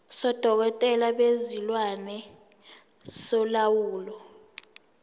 sodokotela bezilwane solawulo